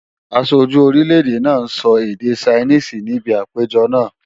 Aṣojú orílè-èdè náà sọ èdè Ṣainíìsì níbi àpéjọ náà